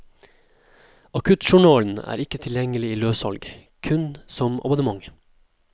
Akuttjournalen er ikke tilgjengelig i løssalg, kun som abonnement.